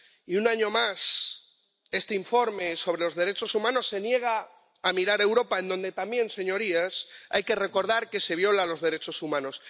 Y, un año más, este informe sobre los derechos humanos se niega a mirar a Europa, en donde también, señorías, hay que recordar que se violan los derechos humanos.